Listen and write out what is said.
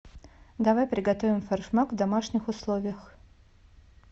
давай приготовим форшмак в домашних условиях